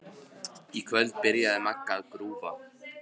Í kvöld byrjaði Magga að grúfa.